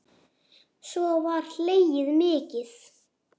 Svo var hlegið mikið.